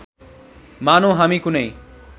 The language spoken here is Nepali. मानौँ हामी कुनै